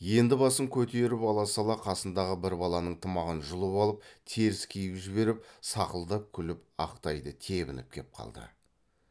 енді басын көтеріп ала сала қасындағы бір баланың тымағын жұлып алып теріс киіп жіберіп сақылдап күліп ақ тайды тебініп кеп қалды